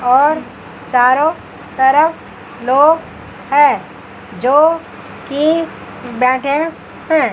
और चारों तरफ लोग हैं जो कि बैठे हैं।